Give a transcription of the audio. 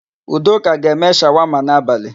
Udoka ga-eme shawama n'abalị.